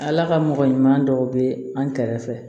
Ala ka mɔgɔ ɲuman dɔw bɛ an kɛrɛfɛ